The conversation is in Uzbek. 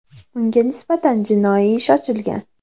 Unga nisbatan jinoiy ish ochilgan.